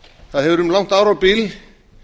það hefur um langt árabil